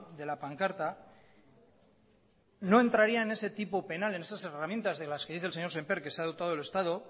de la pancarta no entraría en ese tipo penal en esas herramientas de las que dice el señor sémper que se ha dotado el estado